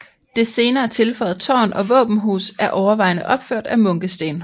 Det senere tilføjede tårn og våbenhus er overvejende opført af munkesten